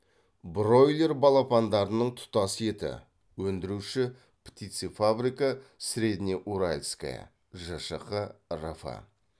бройлер балапандарының тұтас еті өндіруші птицефабрика среднеуральская жшқ рф